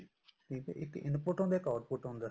ਠੀਕ ਹੈ ਇੱਕ input ਹੁੰਦਾ ਇੱਕ output ਹੰਦਾ